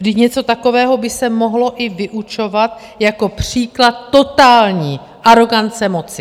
Vždyť něco takového by se mohlo i vyučovat jako příklad totální arogance moci.